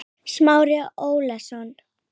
Smári Ólason.